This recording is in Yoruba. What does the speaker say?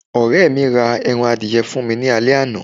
ọrẹ mi ra eran adìye fún mi ni ale àná